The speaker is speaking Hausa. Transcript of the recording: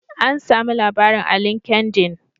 An sami labarin a linkendin.